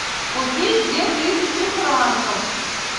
купить две тысячи франков